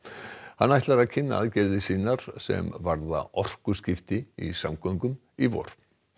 hann ætlar að kynna aðgerðir sem varða orkuskipti í samgöngum í vor